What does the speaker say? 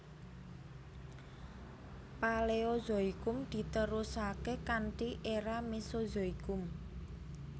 Paleozoikum diterusaké kanthi era Mesozoikum